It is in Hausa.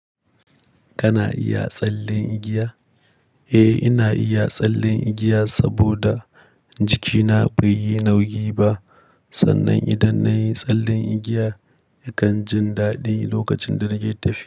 Kana iya tsallen igiya? Eh, ina iya tsallen igiya saboda jikina bai yi nauyi ba. Sannan idan nayi tsallen igiya, yakan jin daɗi lokacin da nake tafiya.